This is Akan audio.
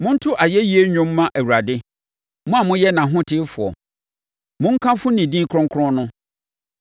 Monto ayɛyie nnwom mma Awurade; mo a moyɛ nʼahotefoɔ! Monkamfo ne din kronkron no.